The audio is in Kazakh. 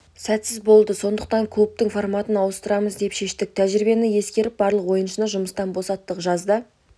сәтсіз болды сондықтан клубтың форматын ауыстырамыз деп шештік тәжірибені ескеріп барлық ойыншыны жұмыстан босаттық жазда